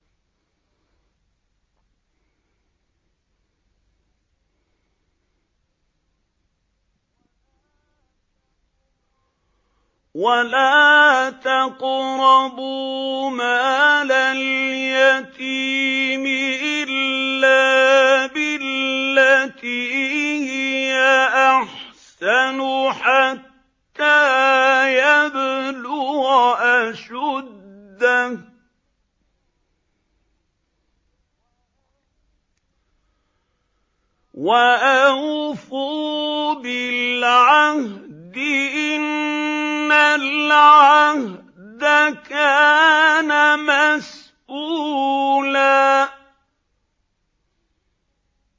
وَلَا تَقْرَبُوا مَالَ الْيَتِيمِ إِلَّا بِالَّتِي هِيَ أَحْسَنُ حَتَّىٰ يَبْلُغَ أَشُدَّهُ ۚ وَأَوْفُوا بِالْعَهْدِ ۖ إِنَّ الْعَهْدَ كَانَ مَسْئُولًا